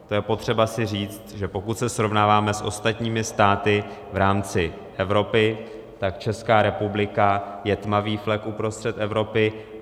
To je potřeba si říct, že pokud se srovnáváme s ostatními státy v rámci Evropy, tak Česká republika je tmavý flek uprostřed Evropy.